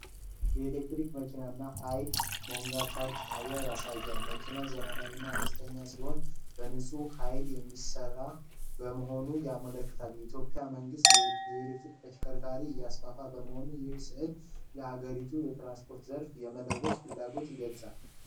የኤሌክትሪክ መኪና እና የኃይል መሙያ (ቻርጅ) ጣቢያ ያሳያል። መኪናው ዘመናዊና አነስተኛ ሲሆን በንጹህ ኃይል የሚሰራ መሆኑን ያመለክታል። የኢትዮጵያ መንግስት የኤሌክትሪክ ተሽከርካሪዎችን እያስፋፋ በመሆኑ ይህ ሥዕል የአገሪቱን የትራንስፖርት ዘርፍ የመለወጥ ፍላጎት ይገልጻል።